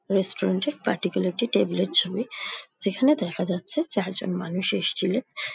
Restaurant -এর particular একটি table -এর ছবি । যেখানে দেখা যাচ্ছে চারজন মানুষ এসেছিলেন ।